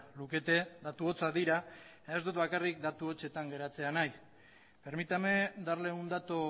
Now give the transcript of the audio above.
lukete datu hotzak dira ez dut bakarrik datu hotzetan geratzea nahi permítame darle un dato